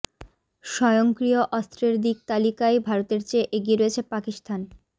স্বয়ংক্রিয় অস্ত্রের দিক তালিকায় ভারতের চেয়ে এগিয়ে রয়েছে পাকিস্তান